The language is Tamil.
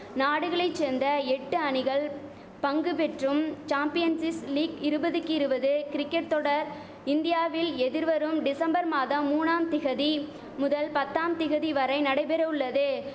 நாடுகளை சேந்த எட்டு அணிகள் பங்குபெற்றும் சாம்பியன்ஸிஸ் லீக் இருபதுக்கு இருபது கிரிக்கட் தொடர் இந்தியாவில் எதிர்வரும் டிசம்பர் மாதம் மூனாம் திகதி முதல் பத்தாம் திகதி வரை நடைபெறவுள்ளது